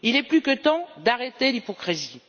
Il est plus que temps d'arrêter l'hypocrisie.